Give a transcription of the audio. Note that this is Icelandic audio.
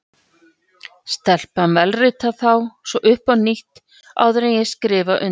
Stelpan vélritar þá svo upp á nýtt, áður en ég skrifa undir.